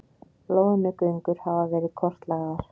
Loðnugöngur hafa verið kortlagðar